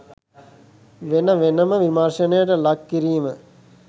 වෙන වෙනම විමර්ශනයට ලක් කිරීම